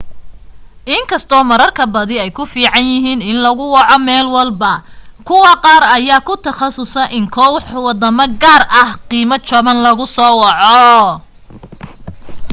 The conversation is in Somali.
inkastoo kaararka badi ay ku fiican yihiin in lagu waco meel walbo kuwa qaar ayaa ku takhasuso inay koox wadamo gaar ah qiimo jaban lagu waco